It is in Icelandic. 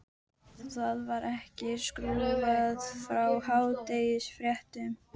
Það var ekki skrúfað frá hádegisfréttum.